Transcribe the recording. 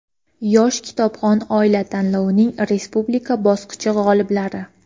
"Yosh kitobxon oila" tanlovining respublika bosqichi g‘oliblari:.